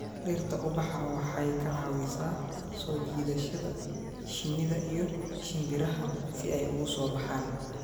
Dhirta ubaxa waxay ka caawisaa soo jiidashada shinnida iyo shimbiraha si ay ugu soo baxaan.